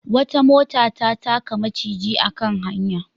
Wata mota ta taka maciji a kan hanya.